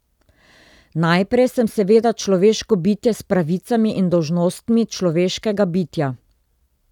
Najprej sem seveda človeško bitje s pravicami in dolžnostmi človeškega bitja.